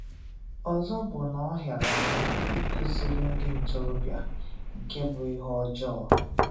Ọzọ bụ na ọ hịara ahụ ikuziri ndị ntorobịa nke bụ ihe ọjọọ